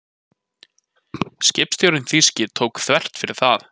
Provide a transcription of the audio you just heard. Skipstjórinn þýski tók þvert fyrir það.